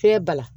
Fiɲɛ bala